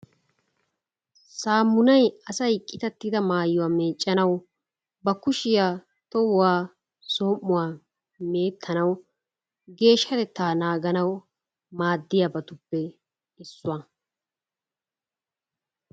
Saamunay asay qitattida maayuwa meeccanawu ba kushiya, tohuwa, aom"uwa meettanawu, geeshshatettaa naaganawu maaddiyabatuppe issuwa.